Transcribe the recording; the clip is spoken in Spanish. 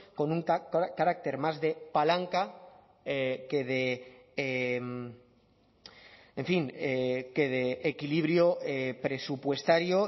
con un carácter más de palanca que de en fin que de equilibrio presupuestario